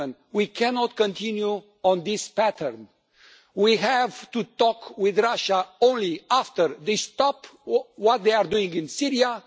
We cannot continue on this path. We have to talk with Russia only after they stop what they are doing in Syria.